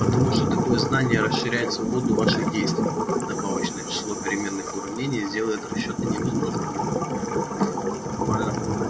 потому что такое знание расширяет свободу ваших действий добавочное число переменных в уравнении сделает расчёты невозможными нормально